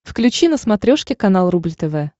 включи на смотрешке канал рубль тв